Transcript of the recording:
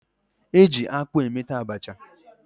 Eji akpụ emeta Abacha